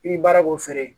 I bi baara k'o feere